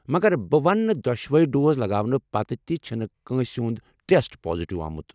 مگر بہٕ وننہٕ دۄشوے ڈوز لگاونہٕ پتہٕ تہِ چھنہٕ کٲنٛسہ ہُنٛد ٹیسٹ پازِٹیو آمُت۔